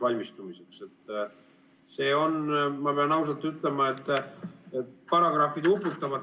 Ma pean ausalt ütlema, et paragrahvid uputavad.